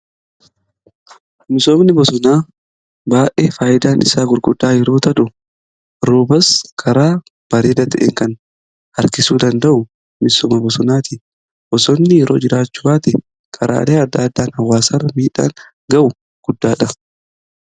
misoomni bosonaa baayyee faayidaan isaa gurguddaa yeroota ta'u roobas karaa bareedaa ta'en kan harkisuu danda'u misooma bosonaati. bosonni yeroo jiraachuu baate karaalee adda addaan hawaasarra miidhaan gahu guddaadha.